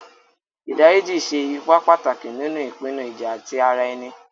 Ìdá ríjí ṣè èípà pátákì nínu ìpìnnú ìjà̀ tí ara ènì.